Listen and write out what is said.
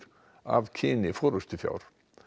af kyni forystufjár